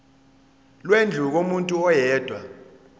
lwendlu kumuntu oyedwa